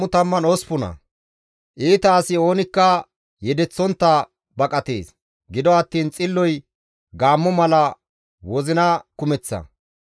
Iita asi oonikka yedeththontta baqatees; gido attiin xilloy gaammo mala wozina kumeththa.